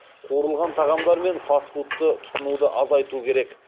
қуырылған тағамдар мен фаст фудты тұтынуды азайту керек